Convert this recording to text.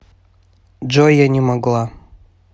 джой я не могла